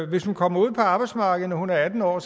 hvis hun kommer ud på arbejdsmarkedet når hun er atten år